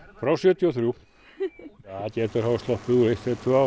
frá sjötíu og þremur það gætu hafa sloppið úr eitt eða tvö ár